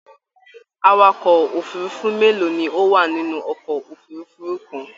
Àwàkọ̀ òfurùnfu mélòó ni o wà nínú ọkọ òfurùnfu kàn?